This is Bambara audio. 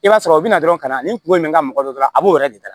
I b'a sɔrɔ u bɛ na dɔrɔn ka na ni kunko in bɛ nga mɔgɔ dɔ la a b'o yɛrɛ de da